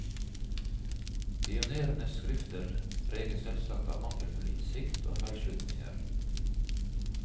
Pionerenes skrifter preges selvsagt av mangelfull innsikt og feilslutninger.